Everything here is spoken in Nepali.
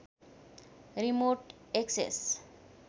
remote access